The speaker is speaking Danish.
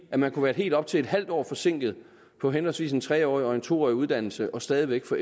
at man kunne være helt op til et halvt år forsinket på henholdsvis en tre årig og en to årig uddannelse og stadig væk få